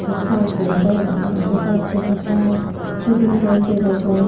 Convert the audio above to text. yot taar dega jaai arow karento taar dega jaai suguri gaj dega jaai.